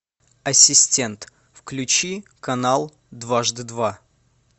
ассистент включи канал дважды два